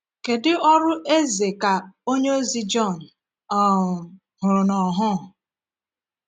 Kedu ọrụ eze ka onyeozi Jọn um hụrụ n’ọhụ?